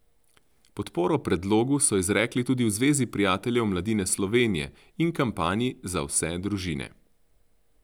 Podporo predlogu so izrekli tudi v Zvezi prijateljev mladine Slovenije in kampanji Za vse družine.